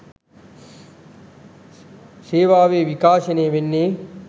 සේවාවේ විකාශනය වෙන්නේ